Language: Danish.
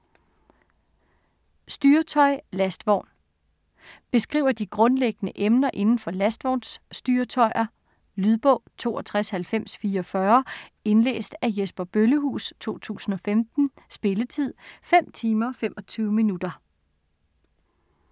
Styretøj - lastvogn Beskriver de grundlæggende emner inden for lastvognsstyretøjer. Lydbog 629044 Indlæst af Jesper Bøllehuus, 2015. Spilletid: 5 timer, 25 minutter.